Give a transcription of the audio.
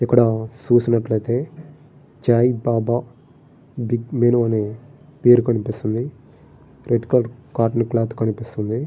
ఇక్కడ చూసినట్లయితే Chai Baba big menu అనే పేరు కనిపిస్తుంది. రెడ్ కలర్ కాటన్ క్లోత్ కనిపిస్తుంది.